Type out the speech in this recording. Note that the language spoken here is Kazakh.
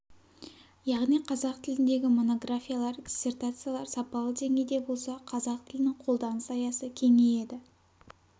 яғни қазақ тіліндегі монографиялар диссертациялар сапалы деңгейде болса қазақ тілінің қолданыс аясы кеңейеді